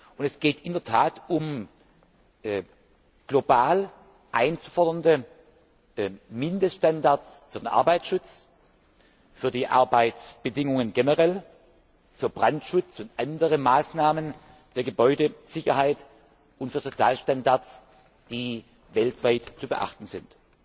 Und es geht in der Tat um global einzufordernde Mindeststandards für den Arbeitsschutz, für die Arbeitsbedingungen generell, für Brandschutz und andere Maßnahmen der Gebäudesicherheit und für Sozialstandards, die weltweit zu beachten sind.